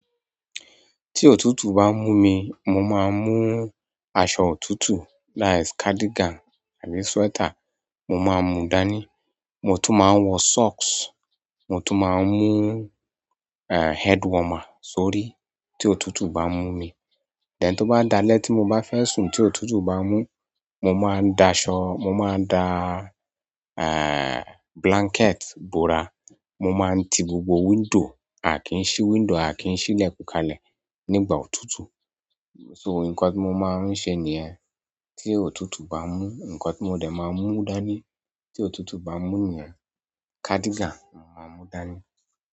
Tí òtútù bá mú mi, mo máa ń mú aṣọ òtútù that's cardigan àbí sweater mo máa ń mú dání. Mo tun maa n wo socks then tó bá dálé tí mo bá fẹ́ sùn tí òtútù bá mú, mo máa ń da aṣọ, mo máa da, eh, blanket bora. Mo máa ń ti gbogbo window, a kì í ṣí window, a kì í ṣí ilẹ̀kùn kalẹ̀ nígbà òtútù. So nǹkan tí mo máa ń ṣe nìyẹn. Tí òtútù bá mú nǹkan tí mo dẹ̀ máa mú dání, tí òtútù bá mú ni yen, cardigan mo máa mú dání.